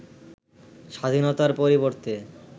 স্বাধীনতার পরিবর্তে